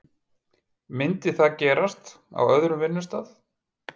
Myndi það gerast á öðrum vinnustað?